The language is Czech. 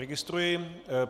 Registruji.